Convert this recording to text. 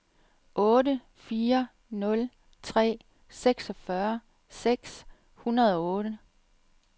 otte fire nul tre seksogfyrre seks hundrede og otte